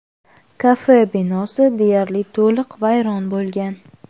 Kafe binosi deyarli to‘liq vayron bo‘lgan.